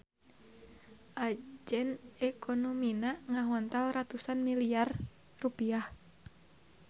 Ajen ekonomina ngahontal ratusan miliyar rupiah.